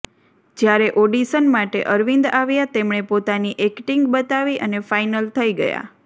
જ્યારે ઓડિશન માટે અરવિંદ આવ્યા તેમણે પોતાની એક્ટિંગ બતાવી અને ફાઈનલ થઈ ગયા